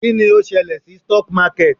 Kí ni ó ṣẹlẹ̀ sí stock market?